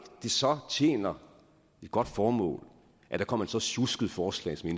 det så tjener et godt formål at der kommer et så sjusket forslag som